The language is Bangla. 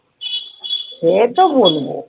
সে তো বলবো